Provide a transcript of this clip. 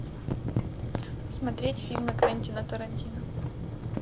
смотреть фильмы квентина тарантино